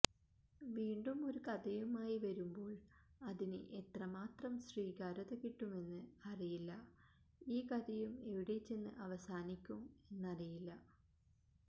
വീണ്ടും ഒരു കഥയുമായി വരുമ്പോൾ അതിന് എത്രമാത്രം സ്വീകാര്യത കിട്ടുമെന്ന് അറിയില്ല ഈ കഥയും എവിടെ ചെന്ന് അവസാനീക്കും എന്നറിയില്ല